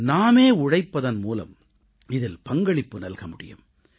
நாமே உழைப்பதன் மூலம் இதில் பங்களிப்பு நல்க முடியும்